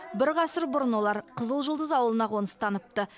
бір ғасыр бұрын олар қызыл жұлдыз ауылына қоныстаныпты